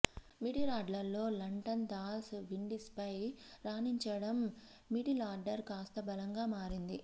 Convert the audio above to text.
మిడిలార్డర్లో లంటన్ దాస్ విండీస్పై రాణించడం మిడిలార్డర్ కాస్త బలంగా మారింది